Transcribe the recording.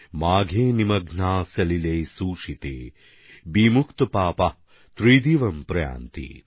মাঘে নিমগ্নাঃ সলিলে সুশীতে বিমুক্তপাপাঃ ত্রিদিবম প্রয়ান্তি